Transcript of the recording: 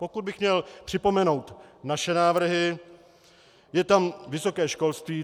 Pokud bych měl připomenout naše návrhy, je tam vysoké školství.